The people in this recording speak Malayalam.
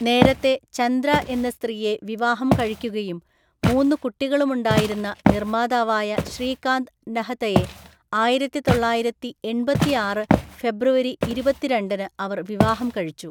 നേരത്തെ ചന്ദ്ര എന്ന സ്ത്രീയെ വിവാഹം കഴിക്കുകയും മൂന്ന് കുട്ടികളുമുണ്ടായിരുന്ന നിർമ്മാതാവായ ശ്രീകാന്ത് നഹതയെ ആയിരത്തിതൊള്ളായിരത്തിഎണ്‍പത്തിയാറ് ഫെബ്രുവരി ഇരുപത്തിരണ്ടിനു അവർ വിവാഹം കഴിച്ചു.